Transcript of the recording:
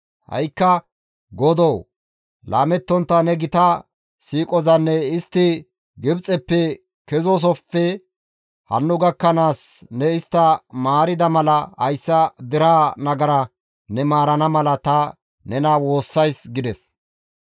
Ha7ikka Godoo! Laamettontta ne gita siiqozan istti Gibxeppe kezoosofe hanno gakkanaas ne istta maarida mala hayssa deraa nagara ne maarana mala ta nena woossays» gides.